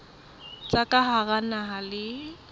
tsa ka hara naha le